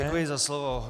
Děkuji za slovo.